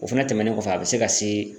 O fɛnɛ tɛmɛnen kɔfɛ a be se ka se